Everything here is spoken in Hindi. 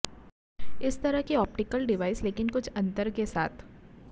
इस तरह की ऑप्टिकल डिवाइस लेकिन कुछ अंतर के साथ